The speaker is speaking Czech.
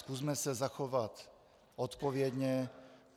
Zkusme se zachovat odpovědně.